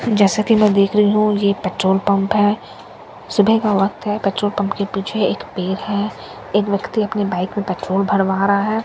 जैसा कि मैं देख रही हूं ये पेट्रोल पंप है सुबह का वक्त है पेट्रोल पंप के पीछे एक पेर है एक व्यक्ति अपने बाइक में पेट्रोल भरवा रहा है।